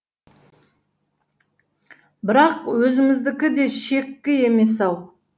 бірақ өзіміздікі де шеккі емес ау